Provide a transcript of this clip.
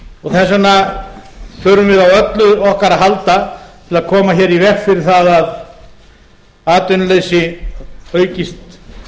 atvinnurekstrarins þess vegna þurfum við á öllu okkar að halda til að koma hér í veg fyrir það að atvinnuleysi aukist